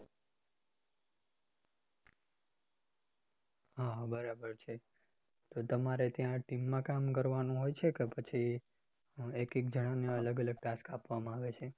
હા બરાબર છે તો તમારે ત્યાં team માં કામ કરવાનું હોય છે એક એક જણા ને અલગ અલગ task આપવા માં આવે છે